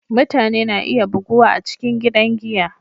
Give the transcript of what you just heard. Mutane na iya buguwa a cikin gidan giya.